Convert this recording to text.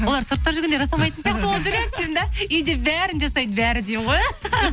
олар сыртта жүргенде жасамайтын сияқты болып жүреді деймін де үйде бәрін жасайды бәрі деймін ғой